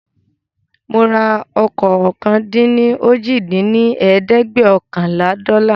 Mora ọkọ̀ ọ̀kan-dín-ní-ojì dín ní ẹ̀ẹ́dẹ́gbẹ́ọ̀kànlá dọ́là